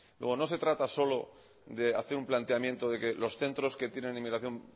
luego no se trata solo de hacer un planteamiento de que los centros que tienen inmigración